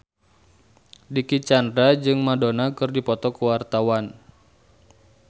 Dicky Chandra jeung Madonna keur dipoto ku wartawan